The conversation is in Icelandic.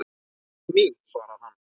Sagan mín, svarar hann.